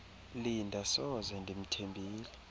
linda soze ndimthembile